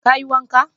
Ka yi wanka?